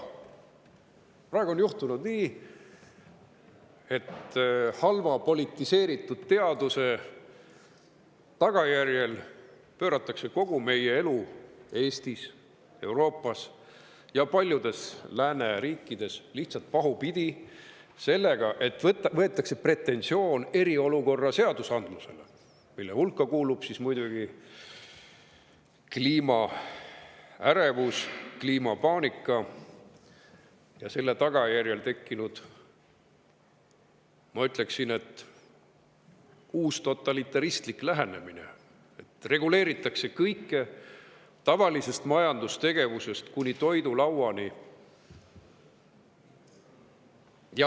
Praegu on juhtunud nii, et halva ja politiseeritud teaduse tagajärjel pööratakse kogu meie elu Eestis, Euroopas ja paljudes lääneriikides lihtsalt pahupidi sellega, et võetakse pretensioon eriolukorra seadusandluseks, mille hulka kuuluvad muidugi kliimaärevus, kliimapaanika ja selle tagajärjel tekkinud, ma ütleksin, uustotalitaristlik lähenemine: reguleeritakse kõike, tavalisest majandustegevusest kuni toidulauani.